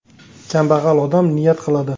Kambag‘al odam niyat qiladi.